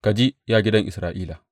Ka ji, ya gidan Isra’ila.